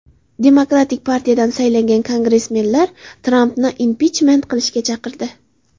Demokratik partiyadan saylangan kongressmenlar Trampni impichment qilishga chaqirdi.